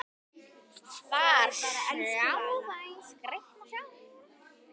Þar sjá þau skrýtna sjón.